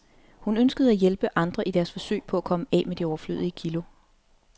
Hun ønskede at hjælpe andre i deres forsøg på at komme af med de overflødige kilo.